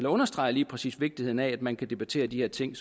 understreger lige præcis vigtigheden af at man kan debattere de her ting